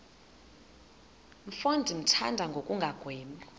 mfo ndimthanda ngokungagwebi